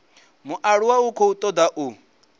mualuwa u khou toda u